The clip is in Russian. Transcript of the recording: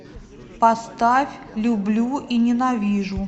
поставь люблю и ненавижу